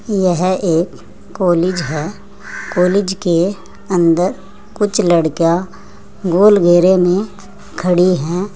यह एक कॉलेज है। कॉलेज के अंदर कुछ लड़कियां गोल घेरे में खड़ी हैं।